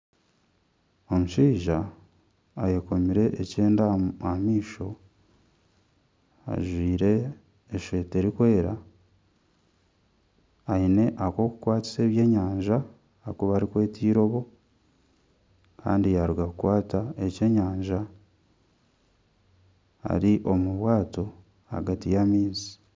Omushaija ayekomire ekyenda aha maisho, ajwaire eshweta erikwera, aine akokukwatisa ebyenyanja aku barikweta irobo kandi yaruga kukwata ekyenyanja ari omu bwato ahagati y'amaizi.